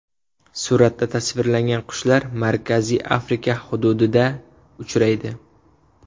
Suratda tasvirlangan qushlar Markaziy Afrika hududida uchraydi.